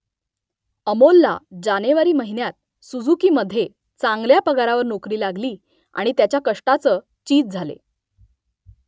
अमोलला जानेवारी महिन्यात सुझुकीमध्ये चांगल्या पगारावर नोकरी लागली आणि त्याच्या कष्टाचं चीज झाले